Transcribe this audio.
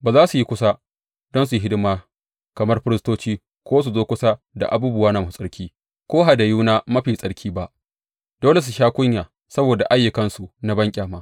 Ba za su yi kusa don su yi hidima kamar firistoci ko su zo kusa da abubuwana masu tsarki ko hadayuna mafi tsarki ba; dole su sha kunya saboda ayyukansu na banƙyama.